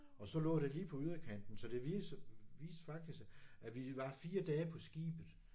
Og så lå det lige på yderkanten så det virker viste faktisk at vi var 4 dage på skibet